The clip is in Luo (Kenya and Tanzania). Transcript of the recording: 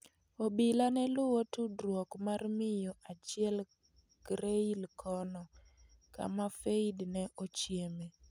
Obila ne luwo tudruok mar miyo achiel Creil kono, kama Faïd ne ochieme.